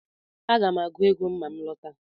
Aga m agụ ego ma m lọta